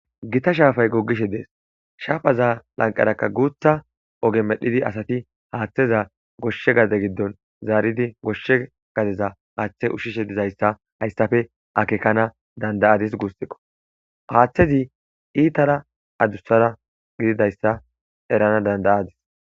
Gita shaafay goggishe dees shaafaza lanqaraka guutha oge medhdhidi asati haaththeza goshshe gade giddon zaaridi goshshe gadeza haaththe ushshishe dizayssa hayssafe akekana dandayadis guussiqo haaththezi iitara adussara gididayssa erana dandayadis.